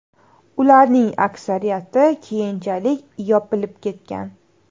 Ularning aksariyati keyinchalik yopilib ketgan.